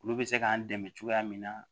Olu bɛ se k'an dɛmɛ cogoya min na